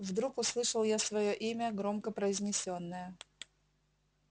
вдруг услышал я своё имя громко произнесённое